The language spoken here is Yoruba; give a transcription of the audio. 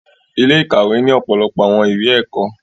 Ile-ikawe ni ọpọlọpọ awọn iwe ẹkọ